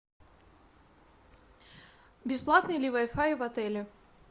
бесплатный ли вай фай в отеле